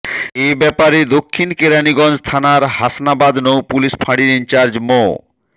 এ ব্যাপারে দক্ষিণ কেরানীগঞ্জ থানার হাসনাবাদ নৌ পুলিশ ফাঁড়ির ইনচার্জ মো